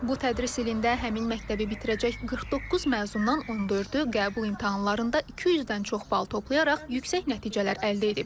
Bu tədris ilində həmin məktəbi bitirəcək 49 məzundan 14-ü qəbul imtahanlarında 200-dən çox bal toplayaraq yüksək nəticələr əldə edib.